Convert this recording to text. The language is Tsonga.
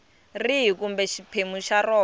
rihi kumbe xiphemu xa rona